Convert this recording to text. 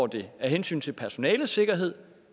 det af hensyn til personalets sikkerhed